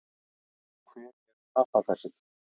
Og hver er pappakassinn?